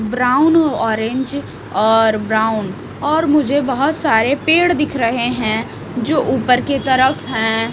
Brown orange और brown और मुझे बहोत सारे पेड़ दिख रहे हैं जो ऊपर के तरफ हैं।